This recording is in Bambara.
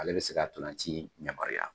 Ale bi se ka ntolan ci yamaruya.